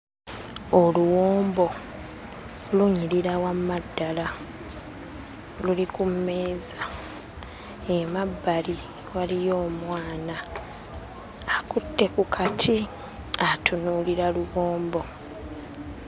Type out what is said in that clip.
Oluwombo lunyirira wamma ddala luli ku mmeeza emabbali waliyo omwana akutte ku kati atunuulira luwombo.